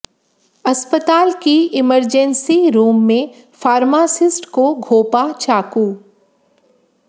अस्पताल की emergency room में फार्मासिस्ट को घोंपा चाकू